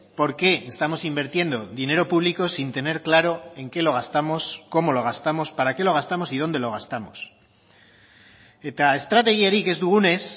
por qué estamos invirtiendo dinero público sin tener claro en qué lo gastamos cómo lo gastamos para qué lo gastamos y dónde lo gastamos eta estrategiarik ez dugunez